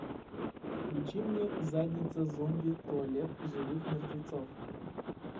включи мне задница зомби туалет живых мертвецов